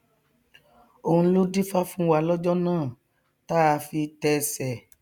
òun ló dífá fún wa lọjọ náà táa fi tẹsẹ